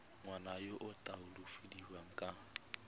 ngwana yo o latofadiwang ka